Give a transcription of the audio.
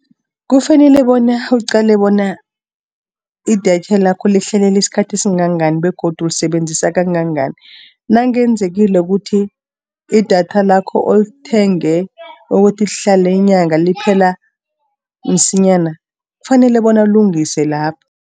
Kufanele bona, uqale bona, idatha lakho lifanele isikhathi esingangani, begodu ulisebenzisa kangangani. Nakwenzekileko ukuthi idatha lakho olithenge ukuthi lihlale inyanga, liphela msinyana, kufanele bona ulungise lapho.